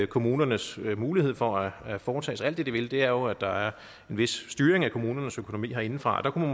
kommunernes mulighed for at foretage sig alt det de vil er jo at der er en vis styring af kommunernes økonomi herindefra der kunne